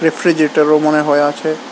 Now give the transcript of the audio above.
রেফ্রিজারেটরও মনে হয় আছে।